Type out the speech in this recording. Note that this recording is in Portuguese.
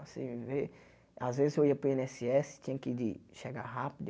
Assim vê às vezes eu ia para o i êne ésse ésse, tinha que ir de chegar rápido.